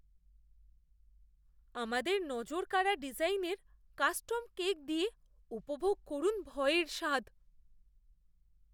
আমাদের নজরকাড়া ডিজাইনের কাস্টম কেক দিয়ে উপভোগ করুন ভয়ের স্বাদ।